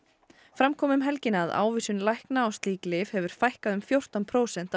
fram kom um helgina að ávísunum lækna á slík lyf hefur fækkað um fjórtán prósent